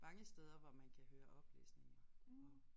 Mange steder hvor man kan høre oplæsninger og